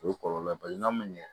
O ye kɔlɔlɔ bali n'a ma ɲɛ